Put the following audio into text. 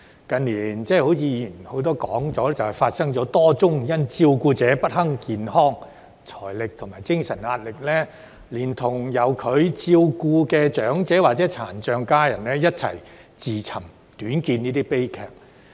正如很多議員已提到，近年發生多宗因照顧者不堪健康、財政和精神壓力，連同由他們照顧的長者或殘障家人，一起自尋短見的悲劇。